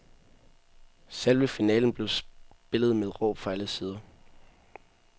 Selve finalen blev spillet med råb fra alle sider.